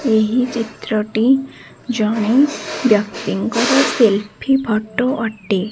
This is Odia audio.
ଏହି ଚିତ୍ରଟି ଜଣେ ବ୍ୟକ୍ତିଙ୍କର ସେଲ୍ଫି ଫଟୋ ଅଟେ।